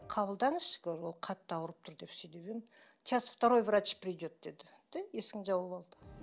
қабылдаңызшы говорю ол қатты ауырып тұр деп сөйдеп едім сейчас второй врач придет деді де есігін жауып алды